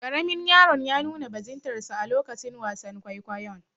Karamin yaron ya nuna bajintarsa a lokacin wasan kwaikwayon.